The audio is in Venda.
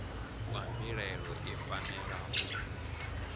kwa mbilaelo i fanela u